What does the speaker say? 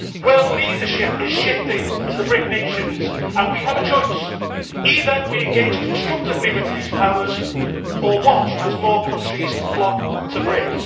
World leadership is shifting to the BRIC nations and we have a choice. Either we engage constructively with these powers, or watch as more countries flock to BRIC.